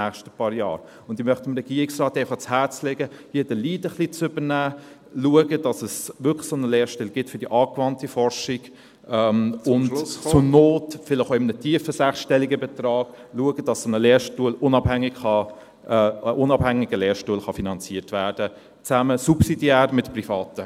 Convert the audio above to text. Ich möchte einfach dem Regierungsrat ans Herz legen, hier etwas den Lead zu übernehmen, zu schauen, dass es wirklich einen solchen Lehrstuhl für die angewandte Forschung geben wird ... ...und zur Not vielleicht auch in einem tiefen sechsstelligen Betrag zu schauen, dass ein unabhängiger Lehrstuhl finanziert werden kann, subsidiär zusammen mit Privaten.